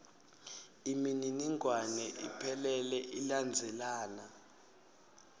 imininingwane iphelele ilandzelana